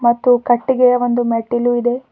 ಮತ್ತು ಕಟ್ಟಿಗೆಯ ಒಂದು ಮೆಟ್ಟಿಲು ಇದೆ.